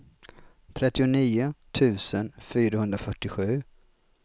trettionio tusen fyrahundrafyrtiosju